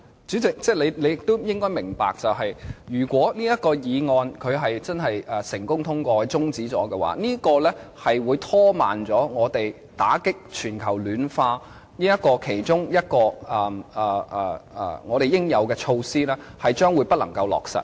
主席，你也應該明白，如果這項議案成功通過，令相關擬議決議案的辯論中止，香港其中一項應對全球暖化的應有措施將不能落實。